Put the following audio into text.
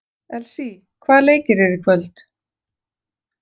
Elsý, hvaða leikir eru í kvöld?